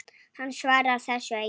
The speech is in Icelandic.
Hann svarar þessu engu.